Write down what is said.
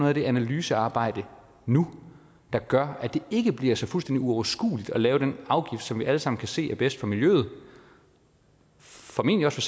af det analysearbejde nu der gør at det ikke bliver fuldstændig uoverskueligt at lave den afgift som vi alle sammen kan se er bedst for miljøet og formentlig også